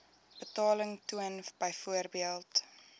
betaling toon byvoorbeeld